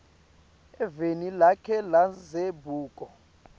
eveni lakhe lendzabuko